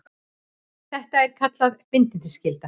Þetta er kallað bindiskylda.